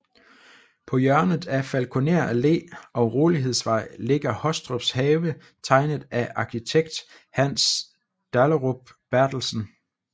På hjørnet af Falkoner Allé og Rolighedsvej ligger Hostrups Have tegnet af arkitekt Hans Dahlerup Berthelsen